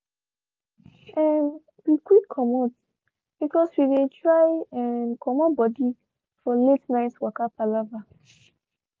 um we quick comot because we dey try um comot body for late night waka palava